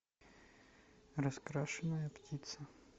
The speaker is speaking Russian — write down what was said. раскрашенная птица